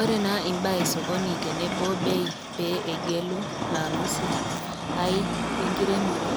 Ore naa imbaa e sokoni tenebo imbaa e beii, tenegelu maamuzi ai enkiremore